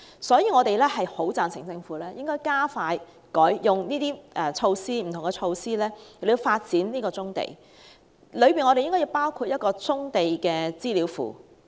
所以，我們十分贊成政府用不同的措施加快發展棕地，當中應該包括設立棕地資料庫。